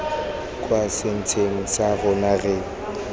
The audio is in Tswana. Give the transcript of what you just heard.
kwa setsheng sa rona re